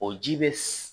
O ji bɛ